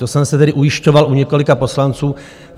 To jsem se tedy ujišťoval u několika poslanců.